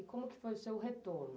E como que foi o seu retorno?